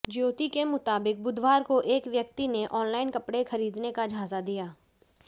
ज्योति के मुताबिक बुधवार को एक व्यक्ति ने ऑनलाइन कपड़े खरीदने का झांसा दिया